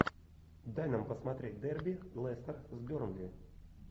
дай нам посмотреть дерби лестер с бернли